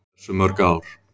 Hversu mörg ár?